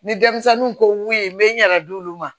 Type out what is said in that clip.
Ni denmisɛnninw ko mun ye n bɛ n yɛrɛ di olu ma